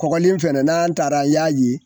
Kɔlen fɛnɛ n taara n y'a ye